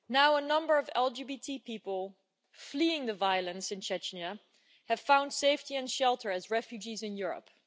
A number of LGBTI people fleeing the violence in Chechnya have found safety and shelter as refugees in Europe.